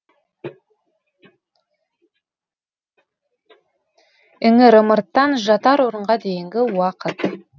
іңір ымырттан жатар орынға дейінгі уақыт